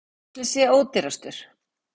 Hver ætli sé ódýrastur?